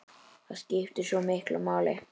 Það skiptir svo miklu máli.